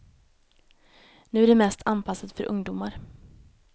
Nu är det mest anpassat för ungdomar.